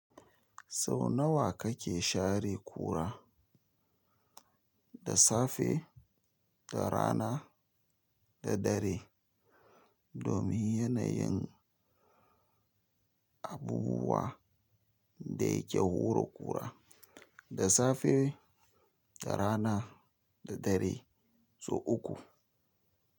Sau nawa kake share kura? Da safe, da rana, da dare. Domin yanayin abubuwa da yake hura kur. Da safe, da rana, da dare, sau uku.